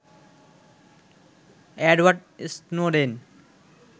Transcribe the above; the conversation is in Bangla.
Edward Snowden